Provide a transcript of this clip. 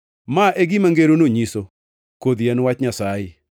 “Ma e gima ngeroni nyiso: Kodhi en wach Nyasaye.